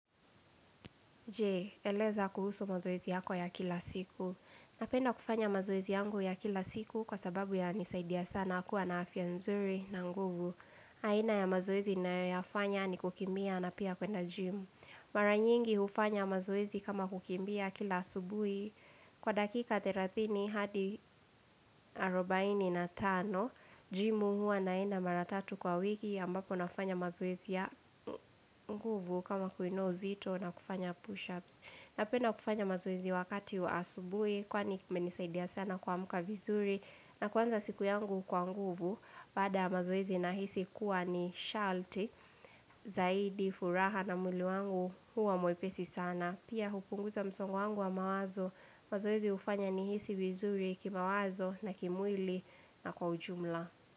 Jee, eleza kuhusu mazoezi yako ya kila siku. Napenda kufanya mazoezi yangu ya kila siku kwa sababu yananisaidia sana kuwa na afya nzuri na nguvu. Aina ya mazoezi ninayoyafanya ni kukimbia na pia kwenda jim. Mara nyingi hufanya mazoezi kama kukimbia kila asubui. Kwa dakika 30 hadi 45, jim huwa naenda mara tatu kwa wiki ambapo nafanya mazoezi ya nguvu kama kuinuwa uzito na kufanya push-ups. Napenda kufanya mazoezi wakati wa asubui, kwani kumenisaidia sana kuamuka vizuri, na kuanza siku yangu kwa nguvu, baada ya mazoezi nahisi kuwa ni shalti, zaidi, furaha na mwili wangu huwa mwepesi sana. Pia hupunguza msongo wangu wa mawazo, mazoezi hufanya nihisi vizuri kimawazo na kimwili na kwa ujumla.